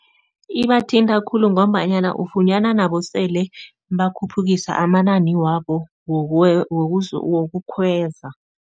Ibathinta khulu ngombanyana ufunyana nabo sele bakhuphukisa amanani wabo wokukhweza.